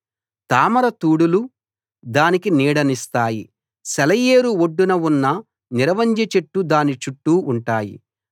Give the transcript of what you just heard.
తామర తూడులు దానికి నీడనిస్తాయి సెలయేరు ఒడ్డున ఉన్న నిరవంజి చెట్లు దాని చుట్టూ ఉంటాయి